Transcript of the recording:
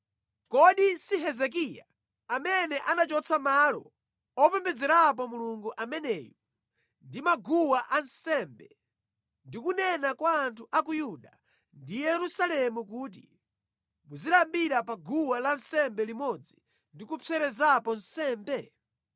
Kodi si Hezekiya amene anachotsa malo opembedzerapo Mulungu ameneyu ndi maguwa ansembe ndi kunena kwa anthu a ku Yuda ndi Yerusalemu kuti, ‘Muzipembedza pa guwa lansembe limodzi ndi kupserezapo nsembe?’